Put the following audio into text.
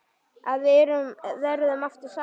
Að við verðum aftur saman.